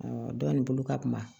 dɔ in bolo ka kuma